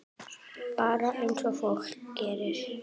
Bara eins og fólk gerir.